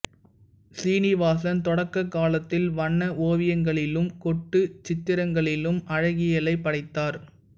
சீனிவாசன் தொடக்கக் காலத்தில் வண்ண ஓவியங்களிலும் கோட்டுச் சித்திரங்களிலும் அழகியலைப் படைத்தார்